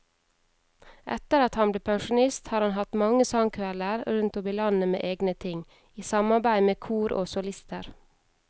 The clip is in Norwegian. Etter at han ble pensjonist har han hatt mange sangkvelder rundt om i landet med egne ting, i samarbeid med kor og solister.